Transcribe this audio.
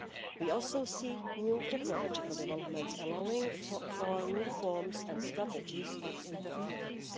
We also see new technological developments allowing for new forms and strategies of interference.